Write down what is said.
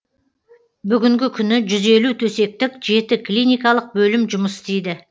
бүгінгі күні жүз елу төсектік жеті клиникалық бөлім жұмыс істейді